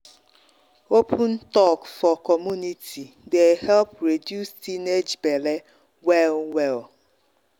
open talk for community dey help reduce teenage belle well well.